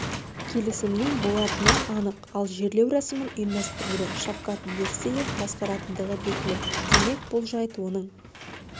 келісімнің болатыны анық ал жерлеу рәсімін ұйымдастыруды шавкат мирзиеев басқаратындығы белгілі демек бұл жайт оның